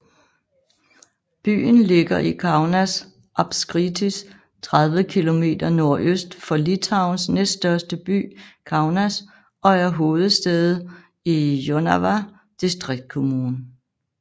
Byen ligger i Kaunas apskritis 30 km nordøst for Litauens næststørste by Kaunas og er hovedsæde i Jonava distriktskommune